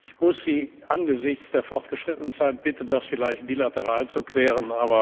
Ich muss Sie angesichts der fortgeschrittenen Zeit bitten, das vielleicht bilateral zu klären.